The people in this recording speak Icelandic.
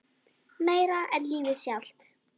Meira en lífið sjálft.